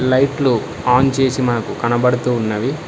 లైట్లు ఆన్ చేసి మాకు కనబడుతూ ఉన్నవి.